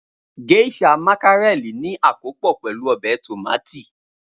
Geisha mákírẹ̀lì ní akópò pẹ̀lu ọbẹ̀ tómátì.